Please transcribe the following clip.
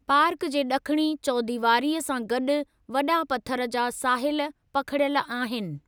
Park जे ॾखणी चौदीवारीअ सां गॾु वॾा पथर जा साहिल पखिड़ियल आहिनि।